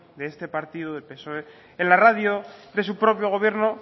de este partido del psoe en la radio de su propio gobierno